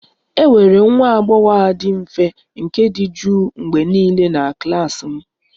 E nwere nwa agbọghọ a dị mfe nke dị jụụ mgbe niile na klas m